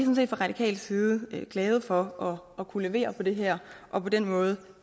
radikal side glade for at kunne levere på det her og på den måde